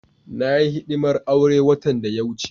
Na yi hidimar auren watan da ya wuce.